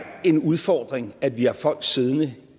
en udfordring at vi har folk siddende